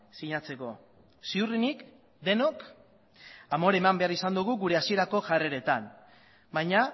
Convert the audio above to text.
sinatzeko ziurrenik denok amore eman behar izan dugu gure hasierako jarreretan baina